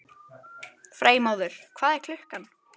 Freymóður, hvað er klukkan?